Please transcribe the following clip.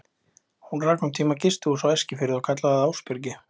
Hún rak um tíma gistihús á Eskifirði og kallaði það Ásbyrgi.